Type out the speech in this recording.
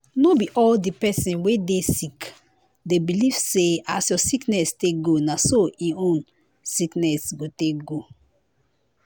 no be all di pesin wey dey sick dey believe say as your sickness take go na so em own sickness go take go.